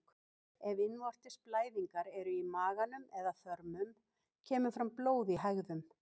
Ef innvortis blæðingar eru í maganum eða þörmum kemur fram blóð í hægðum.